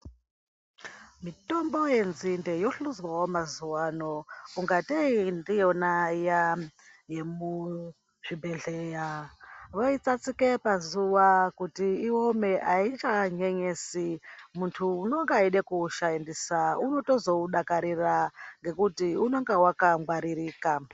Mitombo yenzinde yohluzwawo mazuwano kungatei ndiyona yemuzvibhedhleya voitsatsike pazuwa kuti iome aichanyanyenyesi muntu unenge eida kuushandisa unotozoudakarira ngekuti unonga wakangwaririrka.